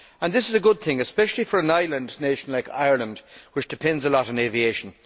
This is a good thing, especially for an island nation like Ireland, which depends a lot on aviation.